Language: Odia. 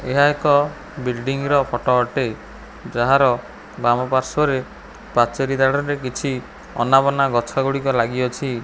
ଏହା ଏକ ବିଲଡିଂ ର ଫଟ ଅଟେ ଯାହାର ବାମ ପାର୍ଶ୍ୱରେ ପାଚେରି ଦାଢ଼ରେ କିଛି ଅନାବନା ଗଛଗୁଡ଼ିକ ଲାଗିଅଛି।